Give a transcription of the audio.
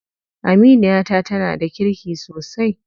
Aminiyata tana da kirki sosai.